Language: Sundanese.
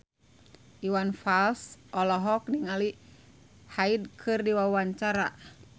Iwan Fals olohok ningali Hyde keur diwawancara